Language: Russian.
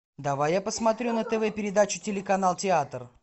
давай я посмотрю на тв передачу телеканал театр